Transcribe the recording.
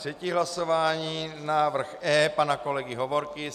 Třetí hlasování - návrh E pana kolegy Hovorky.